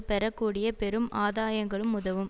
பெற கூடிய பெரும் ஆதாயங்களும் உதவும்